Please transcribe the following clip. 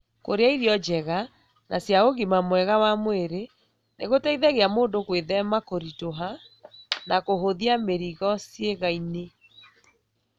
Kũrĩa irio njega na cia ũgima mwega wa mwĩrĩ nĩ gũteithagia mũndũ gwĩthema kũritũha na kũhũthia mĩrigo ciĩga-inĩ.